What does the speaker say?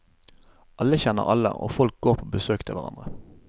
Alle kjenner alle, og folk går på besøk til hverandre.